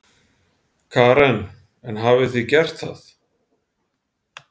Karen: En hafið þið gert það?